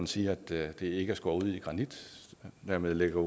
sige at det ikke er skåret ud i granit og dermed lægger